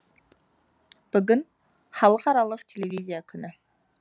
бүгін халықаралық телевизия күні